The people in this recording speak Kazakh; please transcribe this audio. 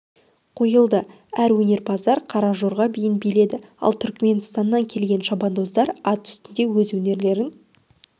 қойылды әрі өнерпаздар қара жорға биін биледі ал түрікменстаннан келген шабандоздар ат үстінде өз өнерлерін